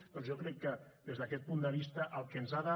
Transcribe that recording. doncs jo crec que des d’aquest punt de vista el que ens ha de